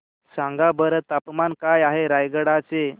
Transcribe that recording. सांगा बरं तापमान काय आहे रायगडा चे